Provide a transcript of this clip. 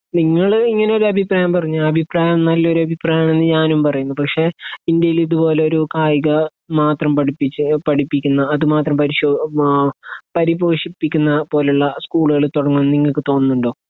നിങ്ങൾ ഇങ്ങനെ ഒരു അഭിപ്രായം പറഞ്ഞു ആ അഭിപ്രായം നല്ലൊരു അഭിപ്രായാണെന്ന് ഞാനും പറയുന്നു പക്ഷെ ഇന്ത്യയിൽ ഇതുപോലൊരു കായിക മാത്രം പഠിപ്പിച്ച് പഠിപ്പിക്കുന്നു അത് മാത്രം പരിശോ ആ പരിപോഷിപ്പിക്കുന്ന പോല്ള്ള സ്കൂളുകൾ തൊടങ്ങും ന്ന് നിങ്ങക്ക് തോന്നുണ്ടോ